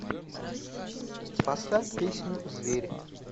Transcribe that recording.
поставь песню зверь